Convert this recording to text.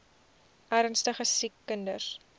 ernstige siek kinders